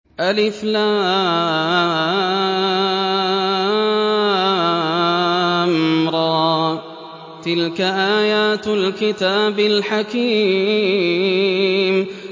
الر ۚ تِلْكَ آيَاتُ الْكِتَابِ الْحَكِيمِ